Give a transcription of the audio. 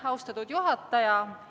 Austatud juhataja!